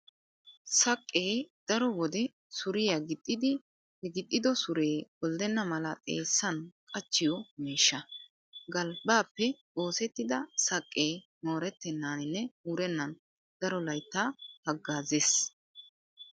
Saqqee daro wode suriya gixxiiddi he gixxido suree kolddenna mala xeessan qachchiyo miishsha. Galbbaappe oosettida saqqee moorettennaaninne wurennan daro layttaa haggaazzees.